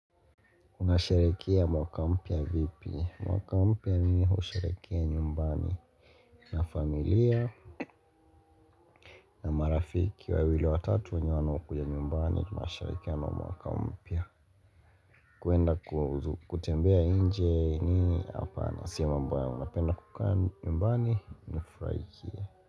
Unasherehekea mwaka mpya vipi? Mwaka mpya ninausherehekea nyumbani na familia na marafiki wawili watatu wanao kuja nyumbani. Tunasherehekea mwaka mpya kuenda kutembea nje mimi hapana. Sio mambo yangu napenda kukaa nyumbani. Nifurahikie.